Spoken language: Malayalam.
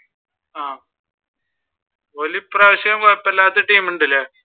ആഹ് ഓര് ഈ പ്രാവിശ്യം കൊഴപ്പമില്ലാത്ത ടീം ഉണ്ട് അല്ല?